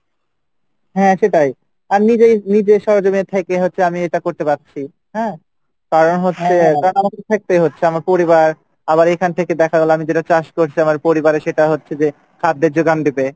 হ্যাঁ সেটাই আমি যদি নিজের সরজমে থেকে এগাতে পারছি কারন হচ্ছে আমার পরিবার আবার এখান থেকে দেখা গেলো আমি যেটা চাষ করছি পরিবারে সেটা হচ্ছে যে খাদ্যের যোগান দেবে